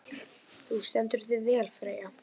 Þú stendur þig vel, Freyja!